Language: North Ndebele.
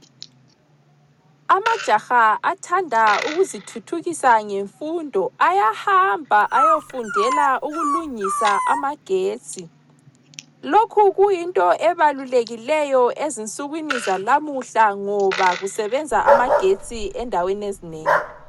Amajaha athanda ukuzithuthukisa ngemfundo ayahamba ayofundela ukulungisa amagetsi. Lokhu kuyinto ebalulekileyo ezinsukwini zalamuhla ngoba kusebenza amagetsi endaweni ezinengi.